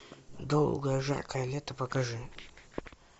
долгое жаркое лето покажи